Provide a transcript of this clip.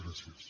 gràcies